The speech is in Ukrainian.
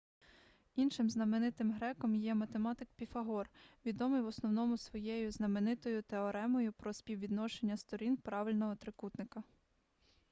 іншим знаменитим греком є ​​математик піфагор відомий в основному своєю знаменитою теоремою про співвідношення сторін правильного трикутника